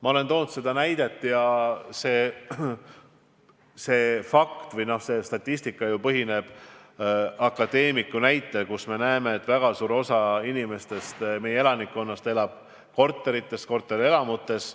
Ma olen toonud näiteks akadeemiku toodud statistika, et väga suur osa meie elanikkonnast elab korterites, korterelamutes.